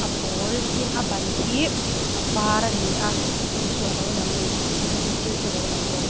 pawl tin a ban hi a var a ni a chung chu a lo lang a ni an zirtirtu a lo lang bawk.